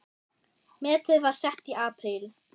Metið var sett í apríl.